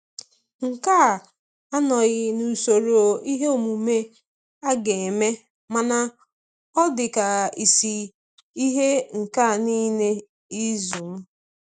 Nke a anọghị n'usoro ihe omume aga eme, mana ọ dị ka isi ihe nke niile izu m.